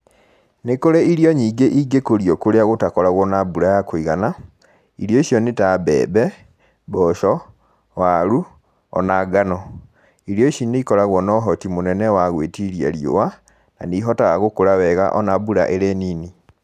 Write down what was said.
Nĩ kũrĩ irio nyingĩ ingĩkũrio kũrĩa gutakoragwo na mbura ya kũigana. Irio icio nĩ ta mbembe, mboco, waru, o na ngano. Irio ici nĩ ikoragwo na ũhoti mũnene wa gwĩtiria riũa, na nĩ ihotaga gũkũra wega o na mbura ĩrĩ nini.